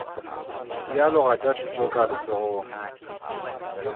dialoga tša thuto ka letsogong